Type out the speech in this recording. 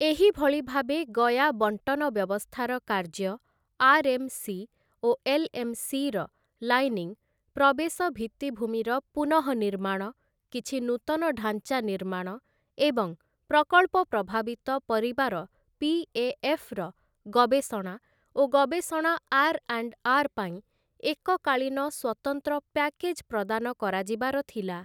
ଏହି ଭଳି ଭାବେ ଗୟା ବଣ୍ଟନ ବ୍ୟବସ୍ଥାର କାର୍ଯ୍ୟ, ଆର୍‌.ଏମ୍‌.ସି. ଓ ଏଲ୍‌.ଏମ୍‌.ସି. ର ଲାଇନିଂ, ପ୍ରବେଶ ଭିତ୍ତିଭୂମିର ପୁନଃନିର୍ମାଣ, କିଛି ନୂତନ ଢାଞ୍ଚା ନିର୍ମାଣ ଏବଂ ପ୍ରକଳ୍ପ ପ୍ରଭାବିତ ପରିବାର ପି.ଏ.ଏଫ୍‌. ର ଗବେଷଣା ଓ ଗବେଷଣା ଆର୍ ଆଣ୍ଡ ଆର୍ ପାଇଁ ଏକକାଳୀନ ସ୍ୱତନ୍ତ୍ର ପ୍ୟାକେଜ୍ ପ୍ରଦାନ କରାଯିବାର ଥିଲା ।